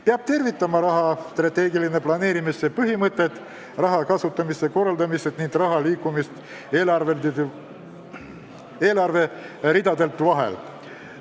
Pean tervitama strateegilise planeerimise põhimõtet, raha kasutamise paremat korraldamist ning raha liikumist eelarveridade vahel.